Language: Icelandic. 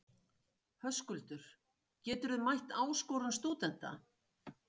Höskuldur: Geturðu mætt áskorun stúdenta?